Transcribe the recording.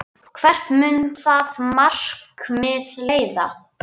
Hvert mun það markmið leiða?